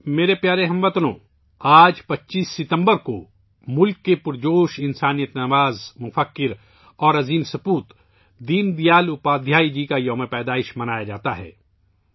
میرے پیارے ہم وطنو، آج 25 ستمبر کو ملک کے عظیم انسان دوست، مفکر اور ملک کے عظیم فرزند دین دیال اپادھیائے جی کایوم پیدائش منایا جاتا ہے